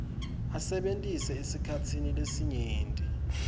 asebentise esikhatsini lesinyenti